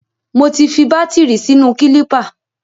Mo ti fi bátìrì sínú kílípà.